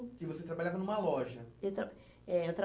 E você trabalhava numa loja? Eu tra, é, eu